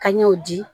Ka ɲɛw di